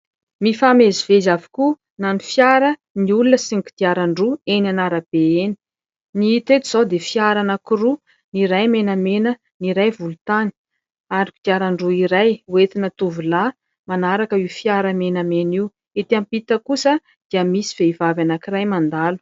Mifamezivezy avokoa na ny fiara, ny olona sy ny kodiaran-droa eny an'arabe eny. Ny hita eto izao dia fiara anankiroa ny iray menamena, ny iray volontany ary kodiaran-droa iray ho entina tovolahy manaraka io fiara menamena io. Etỳ ampita kosa dia misy vehivavy anankiray mandalo.